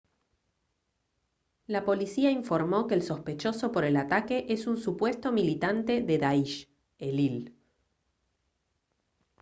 la policía informó que el sospechoso por el ataque es un supuesto militante de daish elil